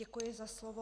Děkuji za slovo.